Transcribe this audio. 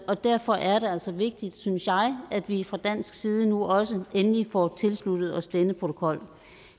og derfor er det altså vigtigt synes jeg at vi fra dansk side nu også endelig får tilsluttet os denne protokol